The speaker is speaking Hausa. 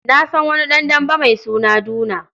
Na san wani ɗan dambe mai suna Duna.